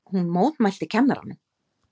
Hún mótmælti kennaranum!